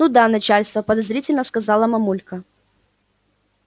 ну да начальство подозрительно сказала мамулька